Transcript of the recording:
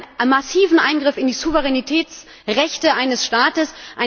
Ich halte das für einen massiven Eingriff in die Souveränitätsrechte eines Staates.